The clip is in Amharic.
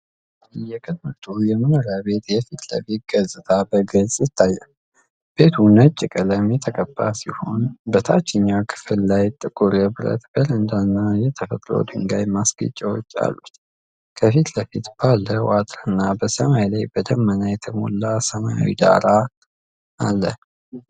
የቅንጡ የመኖሪያ ቤት የፊት ለፊት ገጽታ በግልጽ ይታያል። ቤቱ ነጭ ቀለም የተቀባ ሲሆን፣ በታችኛው ክፍል ላይ ጥቁር የብረት በረንዳና የተፈጥሮ ድንጋይ ማስጌጫዎች አሉት። ከፊት ለፊት ባለው አጥርና በሰማይ ላይ በደመና የተሞላ ሰማያዊ ዳራ አለ።